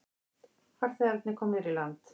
Farþegarnir komnir í land